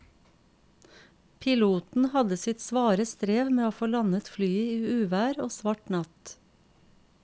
Piloten hadde sitt svare strev med å få landet flyet i uvær og svart natt.